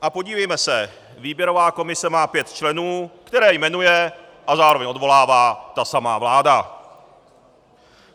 A podívejme se - výběrová komise má pět členů, které jmenuje a zároveň odvolává ta samá vláda.